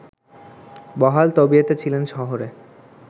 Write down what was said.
বহাল তবিয়তে ছিলেন শহরে